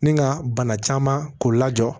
Ni ka bana caman k'o la jɔ